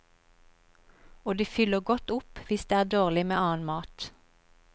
Og det fyller godt opp hvis det er dårlig med annen mat.